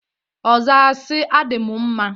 Ọ zaa si, "Adị m mma!"